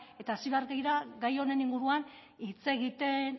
eta hasi behar dira gai honen inguruan hitz egiten